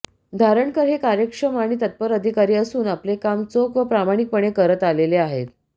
धारणकर हे कार्यक्षम आणि तत्पर अधिकारी असून आपले काम चोख व प्रामाणीकपणे करत आलेले आहेत